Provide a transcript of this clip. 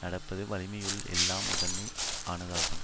நடப்பது வலிமையுள் எல்லாம் முதன்மை ஆனதாகும்